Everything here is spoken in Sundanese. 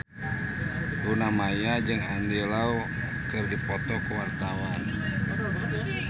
Luna Maya jeung Andy Lau keur dipoto ku wartawan